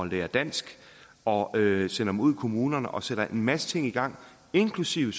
lære dansk og sender dem ud i kommunerne og sætter en masse ting i gang inklusive